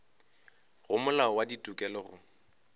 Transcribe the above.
go molao wa ditokelo go